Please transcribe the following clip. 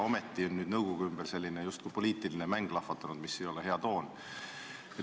Ometi on nüüd nõukogu koosseisu ümber selline justkui poliitiline mäng lahvatanud ja see ei ole hea toon.